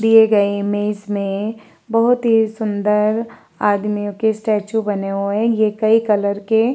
दिए गए इमेज में बहोत ही सुंदर आदमियों के स्टैचू बने हुए हैं। ये कई कलर के --